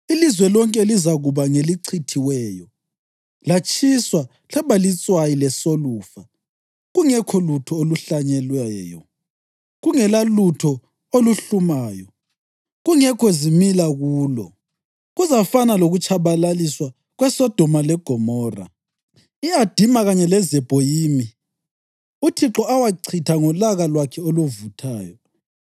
Ilizwe lonke lizakuba ngelichithiweyo latshiswa laba litswayi lesolufa kungekho lutho oluhlanyelweyo, kungelalutho oluhlumayo, kungekho zimila kulo. Kuzafana lokutshabalaliswa kweSodoma leGomora, i-Adima kanye leZebhoyimi, uThixo awachitha ngolaka lwakhe oluvuthayo.